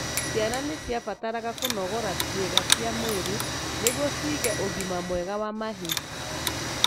Ciana nĩciabataraga kũnogora cĩiga cia mwĩrĩ nĩguo cigĩe ũgima mwega wa mahĩndĩ.